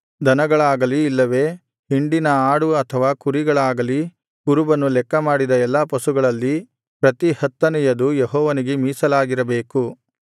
ದನಗಳಾಗಲಿ ಇಲ್ಲವೇ ಹಿಂಡಿನ ಆಡು ಅಥವಾ ಕುರಿಗಳಾಗಲಿ ಕುರುಬನು ಲೆಕ್ಕಮಾಡಿದ ಎಲ್ಲಾ ಪಶುಗಳಲ್ಲಿ ಪ್ರತಿ ಹತ್ತನೆಯದು ಯೆಹೋವನಿಗೆ ಮೀಸಲಾಗಿರಬೇಕು